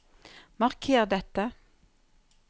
Marker dette